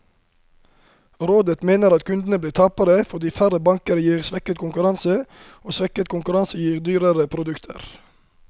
Rådet mener at kundene blir tapere, fordi færre banker gir svekket konkurranse, og svekket konkurranse gir dyrere produkter.